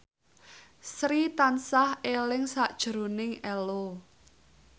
Sri tansah eling sakjroning Ello